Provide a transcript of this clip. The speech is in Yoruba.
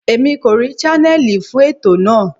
Èmi kò rí channel fún ètò náà.